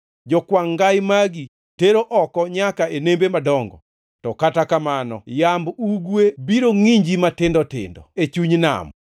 Jokwangʼ ngai magi teri oko nyaka e nembe madongo. To kata kamano yamb ugwe biro ngʼinji matindo tindo e chuny nam.